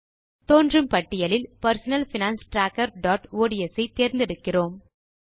தோன்றும் பட்டியலில் personal finance tracker dot ods ஐ தேர்ந்து எடுக்கிறோம்